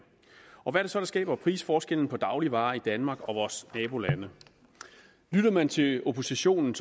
og hvad er det så der skaber prisforskellen på dagligvarer i danmark og i vores nabolande lytter man til oppositionen